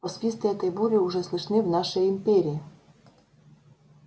посвисты этой бури уже слышны в нашей империи